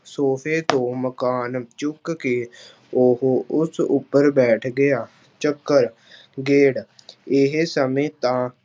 ਸੋਫ਼ੇ ਤੋਂ ਮਕਾਨ ਚੁੱਕ ਕੇ ਉਹ ਉਸ ਉੱਪਰ ਬੈਠ ਗਿਆ, ਚੱਕਰ ਗੇੜ ਇਹ ਸਮੇਂ ਤਾਂ